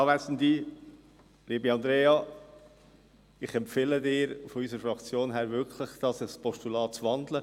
Liebe Andrea Zryd, ich empfehle Ihnen im Namen unserer Fraktion wirklich, die Motion in ein Postulat zu wandeln.